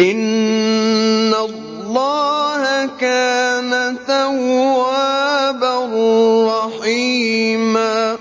إِنَّ اللَّهَ كَانَ تَوَّابًا رَّحِيمًا